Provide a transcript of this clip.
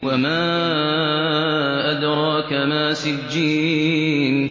وَمَا أَدْرَاكَ مَا سِجِّينٌ